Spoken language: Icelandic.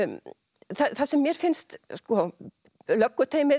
það sem mér finnst